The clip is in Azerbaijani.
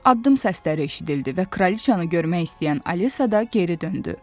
Addım səsləri eşidildi və kraliçanı görmək istəyən Alisa da geri döndü.